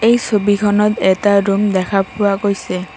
এই ছবিখনত এটা ৰুম দেখা পোৱা গৈছে।